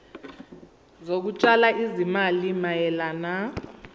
zokutshala izimali mayelana